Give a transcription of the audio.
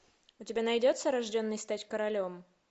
у тебя найдется рожденный стать королем